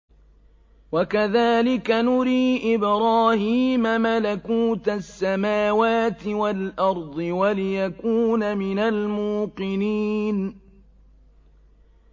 وَكَذَٰلِكَ نُرِي إِبْرَاهِيمَ مَلَكُوتَ السَّمَاوَاتِ وَالْأَرْضِ وَلِيَكُونَ مِنَ الْمُوقِنِينَ